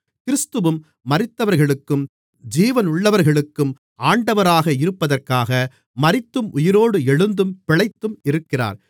கிறிஸ்துவும் மரித்தவர்களுக்கும் ஜீவனுள்ளவர்களுக்கும் ஆண்டவராக இருப்பதற்காக மரித்தும் உயிரோடு எழுந்தும் பிழைத்தும் இருக்கிறார்